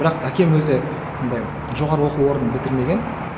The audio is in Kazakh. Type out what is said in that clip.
бірақ әкем өзі андай жоғарғы оқу орнын бітірмеген